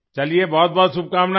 चलिए बहुतबहुत शुभकामनाएं